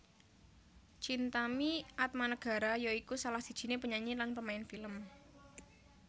Chintami Atmanegara ya iku salah sijiné penyanyi lan pemain film